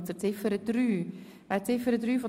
Wir kommen zu Ziffer 3 der Motion.